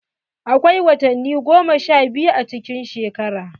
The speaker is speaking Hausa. Akwai watanni goma sha biyu a cikin shekara.